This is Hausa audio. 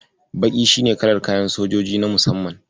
Baƙi shi ne kalar kayan sojoji na musamman.